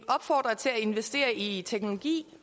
opfordrer til at investere i teknologi